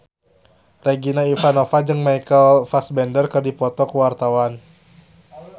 Regina Ivanova jeung Michael Fassbender keur dipoto ku wartawan